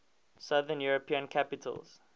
southern european capitals